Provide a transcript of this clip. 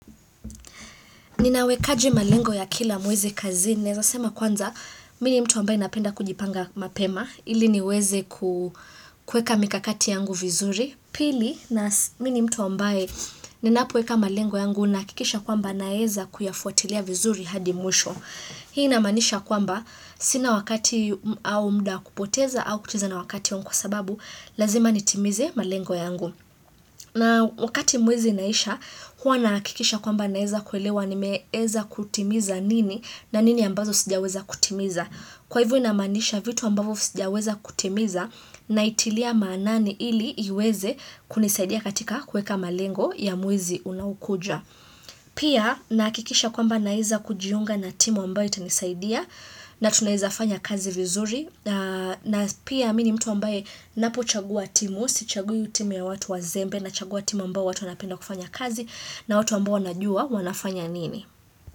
Ninawekaji malengo ya kila mwezi kazini, naweza sema kwanza mimi ni mtu ambaye napenda kujipanga mapema, ili niweze kuweka mikakati yangu vizuri, pili na mini mtu ambaye ninapoweka malengo yangu na hakikisha kwamba naweza kuyafuatilia vizuri hadi mwisho. Hii inamaanisha ya kwamba, sina wakati au muda wa kupoteza au kucheza na wakati wangu kwa sababu, lazima nitimize malengo yangu. Na wakati mwezi inaisha, huwa nahakikisha kwamba naeza kuelewa ni meeza kutimiza nini na nini ambazo sijaweza kutimiza. Kwa hivyo inamanisha vitu ambavyo sijaweza kutimiza na itilia maanani ili iweze kunisadia katika kuweka malengo ya mwezi unaokuja. Pia nahakikisha kwamba naeza kujiunga na timu ambayo itanisaidia na tunaweza fanya kazi vizuri na pia mimi mtu ambayo napo chagua timu Sichagu timu ya watu wa zembe na chagua timu ambao watu wanapenda kufanya kazi na watu ambao wanajua wanafanya nini.